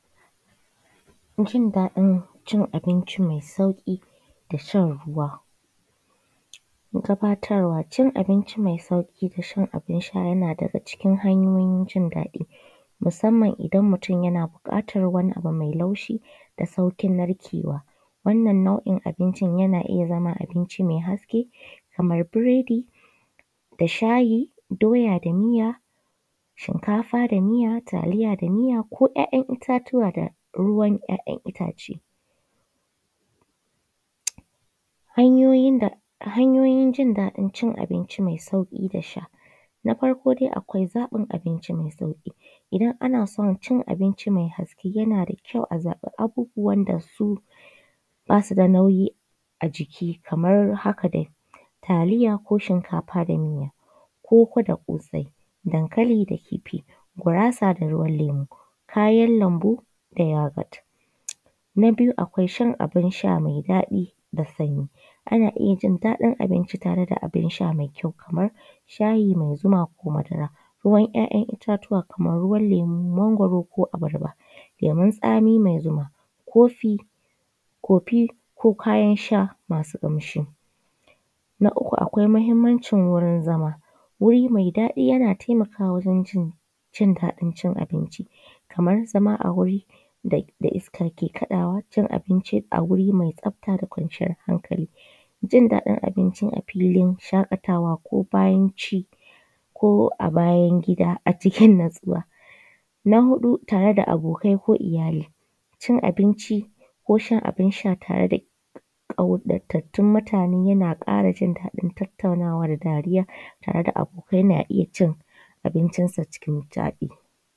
Jin daɗin cin binci mai daɗi da shan ruwa. Gabatarwa cin abinci mai sauƙi da shan abunsha yana daga cikin hanyoyin jin daɗi musamman idan mutun yana buƙatan wani abu mai laushi da sauƙin narkewa. Wannan nau’in abincin yana zama abinci mai haske kamar biredi da shayi, doya da miya, shinkafa da miya, taliya da miya ko ‘ya’’yan’ ittatuwa da ruwan ‘ya’’yan’ ittace. Hanyoyin jin daɗin cin abinci mai daɗi dasha. Na farko dai akwai zaɓin abinci mai sauƙi idan ana so cin abinci mai haske yanada kyau a zaɓi abubuwan dasu basuda nauyi a jiki, kamar haka dai taliya ko shinkafa da miya, koko da kosai, danlin da kifi, gurasa da ruwan lemo kayan lambu da yogot. Na biyu akwai shan abunsha mai daɗi da sanyi ana iyyajin daɗin abinci tare da abun sha mai kyau kamar shayi, da zuma ko madara. Ruwan ‘ya’’yan’ ittatuwa Kaman lemu, mangwaro ko abarba, lemon tsami mai zuma, kofi ko kayan sha masu ƙamshi. Na uku akwai mahimmancin wurin zama wuri mai daɗi yana taimakawa wajen jin daɗin cin abinci Kamar zama a wuri da iska ke kaɗawa, cin abinci a wuri mai tsafta da kwanciyar hakali. Jin daɗin abinci a filin shaƙatawa ko bayan ci a bayan gida a cikin natsuwa. Na huɗu tare da abokai ko iyyali cin abinci ko shan a binsha tare da kwarattun mutane yana ƙara jin daɗin tattaunawa da dariya da abokai na iyyacin abincin sa cikin daɗi.